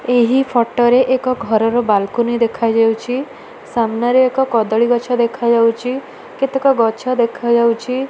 ଏହି ଫଟ ଏକ ଘରର ବାଲକୁନି ଦେଖାଯାଉଚି। ସାମ୍ନାରେ ଏକ କଦଳୀଗଛ ଦେଖାଯାଉଚି। କେତେକ ଗଛ ଦେଖାଯାଉଛି।